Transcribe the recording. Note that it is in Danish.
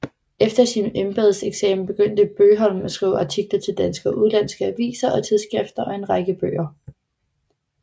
Efter sin embedseksamen begyndte Bøgholm at skrive artikler til danske og udenlandske aviser og tidsskrifter og en række bøger